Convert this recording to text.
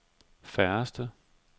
færreste